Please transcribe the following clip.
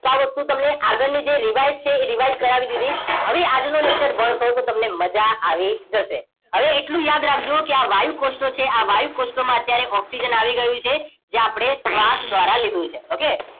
તો આ વસ્તુ તમને આગળની જે revise છે એ revise કરાવી દીધી હવે આજનું lecture ભણશો તો તમને મજા આવી જશે હવે એટલું યાદ રાખજો કે આ વાયુકોષ્ઠો છે આ વાયુકોષ્ઠોમાં અત્યારે ઓક્સિજન આવી ગયું છે જે આપણે શ્વાસ દ્વારા લીધું છે ઓકે